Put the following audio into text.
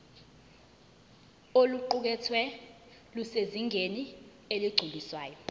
oluqukethwe lusezingeni eligculisayo